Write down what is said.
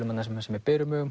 með berum augum